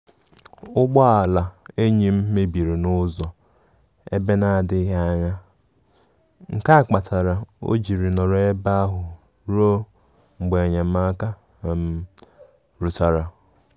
Ụgbọ ala enyim mebiri n'uzọ ebe na adighi anya, nkea kpatara ojịrị nọrọ ebe ahu ruo mgbe enyemaka um rutara